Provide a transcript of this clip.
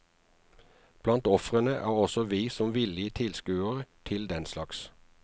Blant ofrene er også vi som villige tilskuere til den slags.